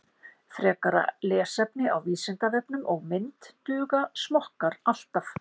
Frekara lesefni á Vísindavefnum og mynd Duga smokkar alltaf?